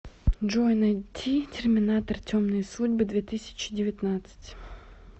джой найти терминатор темные судьбы две тысячи девятнадцать